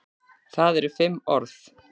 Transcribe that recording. Það eru fimm orð.